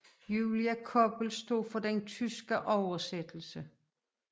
Julia Koppel stod for den tyske oversættelse